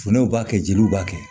Funɛw b'a kɛ jeliw b'a kɛ